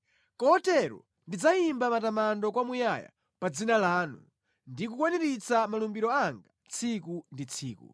Kotero ndidzayimba matamando kwamuyaya pa dzina lanu ndi kukwaniritsa malumbiro anga tsiku ndi tsiku.